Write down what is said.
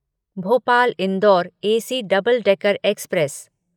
Bhopal Indore AC double decker express